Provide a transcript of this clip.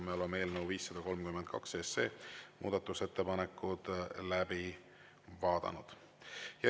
Me oleme eelnõu 532 muudatusettepanekud läbi vaadanud.